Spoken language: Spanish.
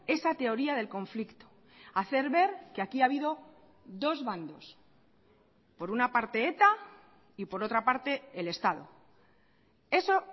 esa teoría del conflicto hacer ver que aquí ha habido dos bandos por una parte eta y por otra parte el estado eso